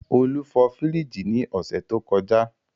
Olú fọ fríìgì ní ọ̀sẹ̀ tó kọjá.